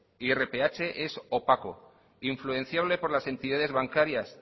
irph es opaco influenciable por las entidades bancarias